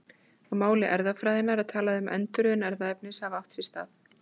Á máli erfðafræðinnar er talað um að endurröðun erfðaefnis hafi átt sér stað.